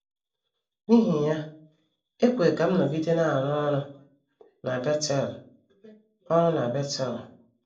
N’ihi ya, e kwere ka m nọgide na - arụ ọrụ na Betel ọrụ na Betel.